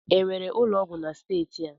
Enwere ụlọ ọgwụ na steeti a?